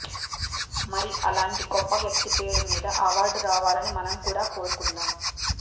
మరి అలాంటి గొప్ప వ్యక్తి పేరు మీద అవార్డు రావాలని మనం కూడా కోరుకుందాం